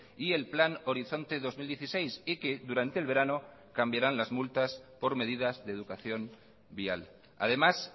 y el plan horizonte dos mil dieciséis y que durante el verano cambiarán las multas por medidas de educación vial además